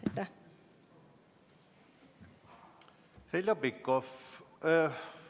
Heljo Pikhof.